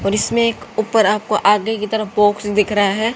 और इसमें एक ऊपर आपको आगे की तरफ बॉक्स दिख रहा है।